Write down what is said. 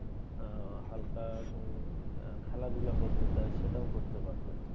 আহ হালকা উম খেলাধুলা করতে চায় সেটাও করতে পারবে।